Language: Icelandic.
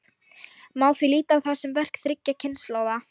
Má því líta á það sem verk þriggja kynslóða.